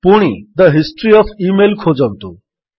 ପୁଣି the history of email ଖୋଜନ୍ତୁ